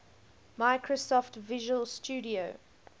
microsoft visual studio